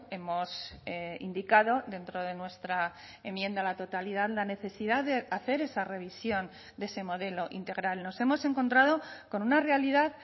hemos indicado dentro de nuestra enmienda a la totalidad la necesidad de hacer esa revisión de ese modelo integral nos hemos encontrado con una realidad